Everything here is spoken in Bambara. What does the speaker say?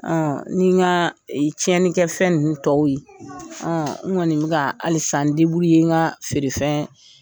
ni n ka tiɲɛnni kɛ fɛn nin tɔw ye n kɔni bɛ ka halisa n n ka feere fɛn